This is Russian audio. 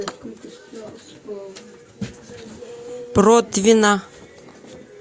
протвино